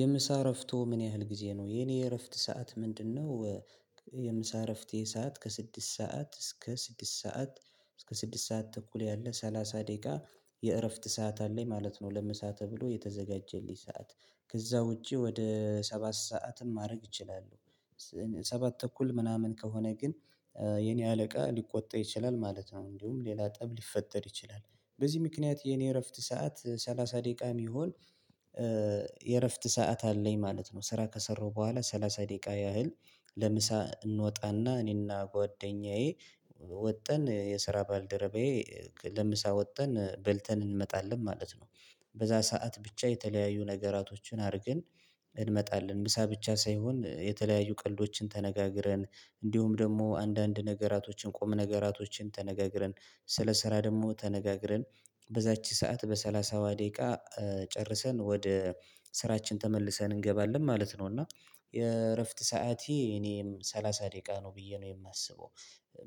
የምሳ እረፍቶ ምን ያህል ጊዜ ነው? የኔ እረፍት ሰዓት ምንድነው የምሳ እረፍቴ ሰዓት ከስድስት ሰዓት እስከ ስድስት ሰዓት እስከ ስድስት ሰዓት ተኩል ያለ ሰላሳ ደቂቃ የእረፍት ሰዓት አለኝ ማለት ነው ለምሳ ተብሎ የተዘጋጀልኝ ሰዓት ከዛ ውጪ ወደ ሰባት ሰዓትም ማድረግ ይችላሉ ሰባት ተኩል ምናምን ከሆነ ግን የኔ አለቃ ሊቆጣ ይችላል ማለት ነው። እንዲሁም ሌላ ጠብ ሊፈጠር ይችላል በዚህ ምክንያት የኔ እረፍት ሰዓት ሰላሳ ደቂቃ የሚሆን የእረፍት ሰዓት አለኝ ማለት ነው። ስራ ከሰራው በኋላ ሰላሳ ደቂቃ ያህል ለምሳ እንወጣና እኔና ጓደኛዬ ወጠን የስራ ባልደረባዬ ለምሳ ወጠን በልተን እንመጣለን ማለት ነው። በዛ ሰዓት ብቻ የተለያዩ ነገራቶችን አድርገን እንመጣለን ምሳ ብቻ ሳይሆን የተለያዩ ቀልዶችን ተነጋግረን እንዲሁም ደግሞ አንዳንድ ነገራቶችን ቁም ነገራቶችን ተነጋግረን ስለ ስራ ደግሞ ተነጋግረን በዛች ሰዓት በሰላሳዋ ደቂቃ ጨርሰን ወደ ስራችን ተመልሰን እንገባለን ማለት ነው እና የእረፍት ሰዓቴ እኔም ሰላሳ ደቂቃ ነው ብዬ ነው የማስበው።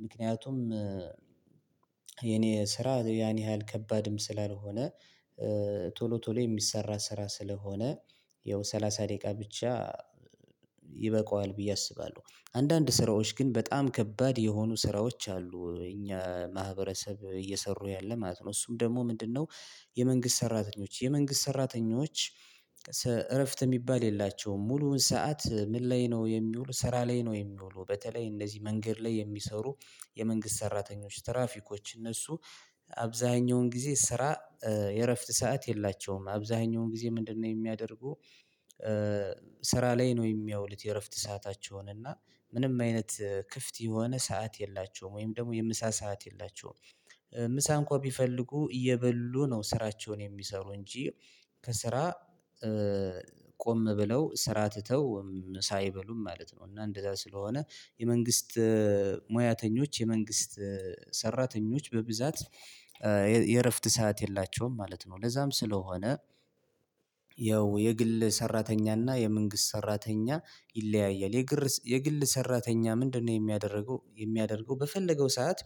ምክንያቱም ስራ ያኔ ያህል ከባድም ስላልሆነ ቶሎ ቶሎ የሚሰራ ስራ ስለሆነ ያው ሰላሳ ደቂቃ ብቻ ይበቃዋል ብዬ አስባለሁ። አንዳንድ ስራዎች ግን በጣም ከባድ የሆኑ ስራዎች አሉ እኛ ማህበረሰብ እየሰሩ ያለ ማለት ነው እሱም ደግሞ ምንድነው የመንግስት ሰራተኞች የመንግስት ሰራተኞች እረፍት የሚባል የላቸውም፤ ሙሉውን ሰዓት ምን ላይ ነው የሚውሉ ስራ ላይ ነው የሚውሉ በተለይ እነዚህ መንገድ ላይ የሚሰሩ የመንግስት ሰራተኞች ትራፊኮች እነሱ አብዛኛውን ጊዜ ስራ የእረፍት ሰዓት የላቸውም አብዛኛውን ጊዜ ምንድነው የሚያደርጉ ስራ ላይ ነው የሚያውሉት የእረፍት ሰአታቸውን እና ምንም አይነት ክፍት የሆነ ሰዓት የላቸውም ወይም ደግሞ የምሳ ሰዓት የላቸውም። ምሳ እንኳን ቢፈልጉ እየበሉ ነው ስራቸውን የሚሰሩ እንጂ ከስራ ቆም ብለው ስራ ትተው ምሳ አይበሉም ማለት ነው እና እንደዛ ስለሆነ የመንግስት ሙያተኞች የመንግስት ሰራተኞች በብዛት የእረፍት ሰዓት የላቸውም ማለት ነው ለዛም ስለሆነ ያው የግል ሰራተኛና የመንግስት ሰራተኛ ይለያያል የግል ሰራተኛ ምንድነው የሚያደርገው የሚያደርገው በፈለገው ሰዓት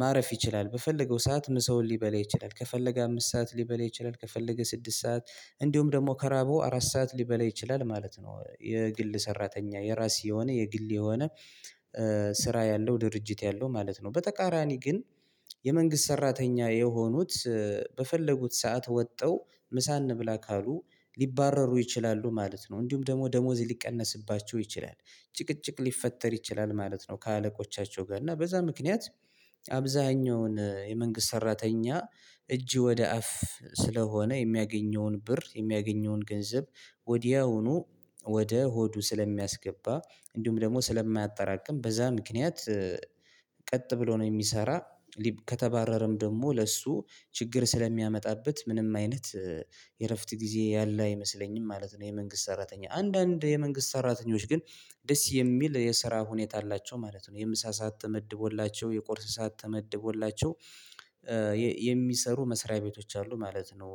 ማረፍ ይችላል በፈለገው ሰዓት ምሰውን ሊበላ ይችላል ከፈለገ አምስት ሰዓት ሊበላ ይችላል ከፈለገ ስድስት ሰዓት እንዲሁም ደግሞ ከራበው አራት ሰዓት ሊበላ ይችላል ማለት ነው የግል ሰራተኛ የራሴ የሆነ የግል የሆነ ስራ ያለው ድርጅት ያለው ማለት ነው በተቃራኒ ግን የመንግስት ሰራተኛ የሆኑት በፈለጉት ሰዓት ወጥተው ምሳ እንብላ ካሉ ሊባረሩ ይችላሉ ማለት ነው እንዲሁም ደሞ ደሞዝ ሊቀነስባቸው ይችላል ጭቅጭቅ ሊፈጠር ይችላል ማለት ነው ከአለቆቻቸው ጋር እና በዛ ምክንያት አብዛኛውን የመንግስት ሰራተኛ እጅ ወደ አፍ ስለሆነ የሚያገኘውን ብር የሚያገኘውን ገንዘብ ወዲያውኑ ወደ ሆዱ ስለሚያስገባ እንዲሁም ደግሞ ስለማያጠራቅም በዛ ምክንያት ቀጥ ብሎ ነው የሚሰራ ከተባረረም ደግሞ ለእሱ ችግር ስለሚያመጣበት ምንም አይነት የእረፍት ጊዜ ያለ አይመስለኝም ማለት ነው የመንግስት ሰራተኛ። አንዳንድ የመንግስት ሰራተኞች ግን ደስ የሚል የስራ ሁኔታ አላቸው ማለት ነው። የምሳ ሰዓት ተመድቦላቸው፣ የቁርስ ሰዓት ተመድቦላቸው የሚሰሩ መስሪያ ቤቶች አሉ ማለት ነው።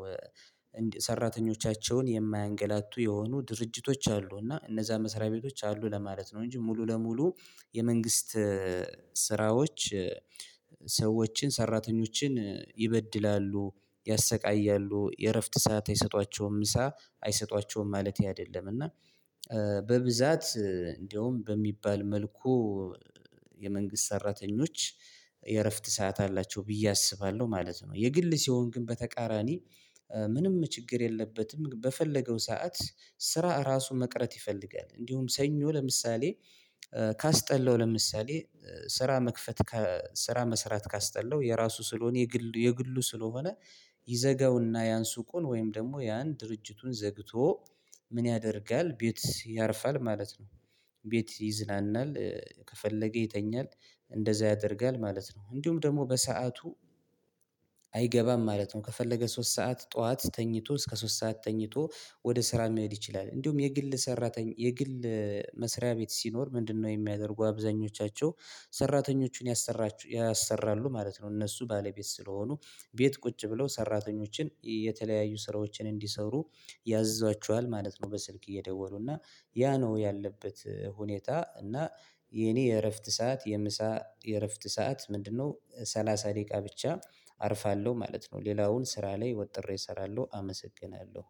የማያንገላቱ የሆኑ ድርጅቶች አሉ እና እነዛ መሰሪያ ቤቶች አሉ ለማለት ነው እንጂ ሙሉ ለሙሉ የመንግስት ስራዎች ሰዎችን ሰራተኞችን ይበድላሉ፣ ያሰቃያሉ፣ የእረፍት ሰዓት አይሰጧቸውም፣ ምሳ አይሰጧቸውም ማለቴ አይደለም እና በብዛት እንደውም በሚባል መልኩ የመንግስት ሰራተኞች የእረፍት ሰዓት አላቸው ብዬ አስባለሁ ማለት ነው የግል ሲሆን ግን በተቃራኒ ምንም ችግር የለበትም በፈለገው ሰዓት ስራ ራሱን መቅረት ይፈልጋል። እንዲሁም ሰኞ ለምሳሌ ካስጠላው ለምሳሌ ስራ መክፈት ስራ መስራት ካስጠላው የራሱ ስለሆነ የግል የግሉ ስለሆነ ይዘጋውና ያን ሱዉን ወይም ደግሞ ያን ድርጅቱን ዘግቶ ምን ያደርጋል ቤት ያርፋል ማለት ነው ቤት ይዝናናል ከፈለገ ይተኛል እንደዛ ያደርጋል ማለት ነው እንዲሁም ደግሞ በሰአቱ አይገባም ማለት ነው ከፈለገ ሶስት ሰዓት ጠዋት ተኝቶ እስከ ሶስት ሰዓት ተኝቶ ወደ ስራ መሄድ ይችላል እንዲሁም የግል ሰራተኝ የግል መስሪያ ቤት ሲኖር ምንድነው የሚያደርጉ አብዛኞቻቸው ሰራተኞችን ያሰራሉ ማለት ነው እነሱ ባለቤት ስለሆኑ ቤት ቁጭ ብለው ሰራተኞችን የተለያዩ ስራዎችን እንዲሰሩ ያዝዟቸዋል ማለት ነው በስልክ እየደወሉ እና ያ ነው ያለበት ሁኔታ እና የኔ የእረፍት ሰዓት የምሳ የእረፍት ሰዓት ምንድነው ሰላሳ ደቂቃ ብቻ አርፋለሁ ማለት ነው ሌላውን ስራ ላይ ወጥሬ እሰራለሁ አመሰግናለሁ።